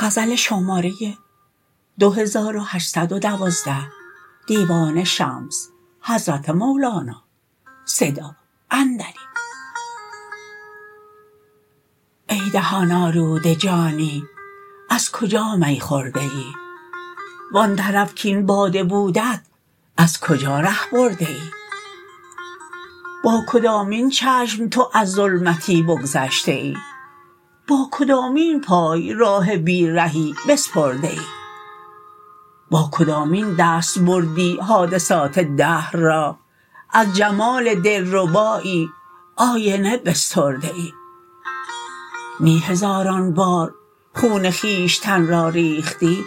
ای دهان آلوده جانی از کجا می خورده ای و آن طرف کاین باده بودت از کجا ره برده ای با کدامین چشم تو از ظلمتی بگذشته ای با کدامین پای راه بی رهی بسپرده ای با کدامین دست بردی حادثات دهر را از جمال دلربایی آینه بسترده ای نی هزاران بار خون خویشتن را ریختی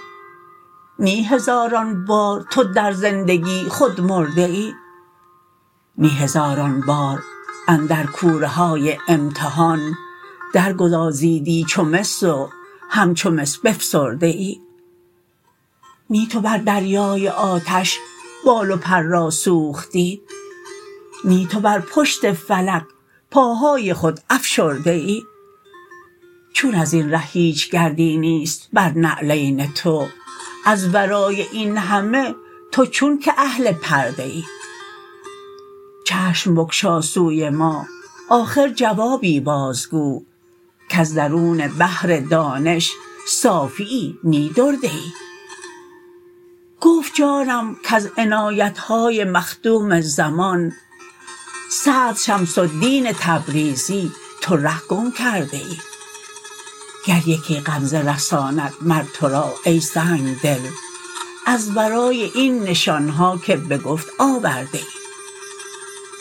نی هزاران بار تو در زندگی خود مرده ای نی هزاران بار اندر کوره های امتحان درگدازیدی چو مس و همچو مس بفسرده ای نی تو بر دریای آتش بال و پر را سوختی نی تو بر پشت فلک پاهای خود افشرده ای چون از این ره هیچ گردی نیست بر نعلین تو از ورای این همه تو چونک اهل پرده ای چشم بگشا سوی ما آخر جوابی بازگو کز درون بحر دانش صافیی نی درده ای گفت جانم کز عنایت های مخدوم زمان صدر شمس الدین تبریزی تو ره گم کرده ای گر یکی غمزه رساند مر تو را ای سنگ دل از ورای این نشان ها که به گفت آورده ای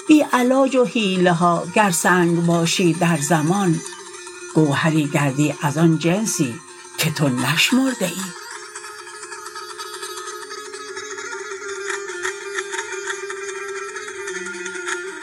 بی علاج و حیله ها گر سنگ باشی در زمان گوهری گردی از آن جنسی که تو نشمرده ای